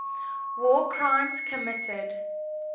war crimes committed